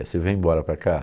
Aí você vem embora para cá?